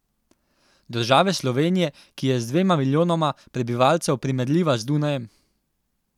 Države Slovenije, ki je z dvema milijonoma prebivalcev primerljiva z Dunajem?